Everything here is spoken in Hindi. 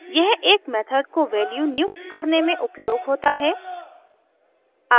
यह एक मेथड को वैल्यू नियुक्त करने में उपयोग होता है